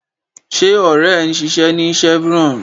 Ṣé ọ̀rẹ́ ẹ ń ṣiṣẹ́ ní Chevron?